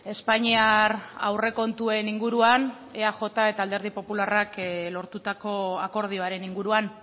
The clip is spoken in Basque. espainiar aurrekontuen inguruan eaj eta alderdi popularrak lortutako akordioaren inguruan